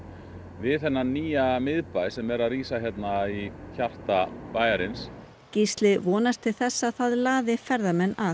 við þennan nýja miðbæ sem er að rísa hérna í hjarta bæjarins Gísli vonast til þess að það laði ferðamenn að